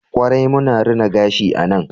kwarai muna rina gashi a nan